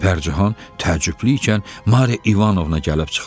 Pərcahan təəccüblü ikən Mariya İvanovna gəlib çıxdı.